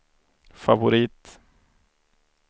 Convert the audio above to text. favorit